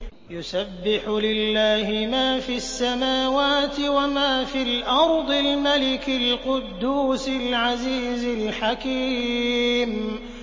يُسَبِّحُ لِلَّهِ مَا فِي السَّمَاوَاتِ وَمَا فِي الْأَرْضِ الْمَلِكِ الْقُدُّوسِ الْعَزِيزِ الْحَكِيمِ